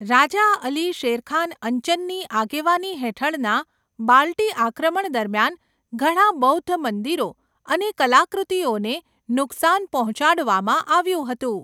રાજા અલી શેરખાન અંચનની આગેવાની હેઠળના બાલ્ટી આક્રમણ દરમિયાન, ઘણા બૌદ્ધ મંદિરો અને કલાકૃતિઓને નુકસાન પહોંચાડવામાં આવ્યું હતું.